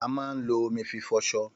Àmà ń ló òmí fí fọsọ.